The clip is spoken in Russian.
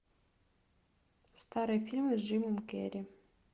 старые фильмы с джимом керри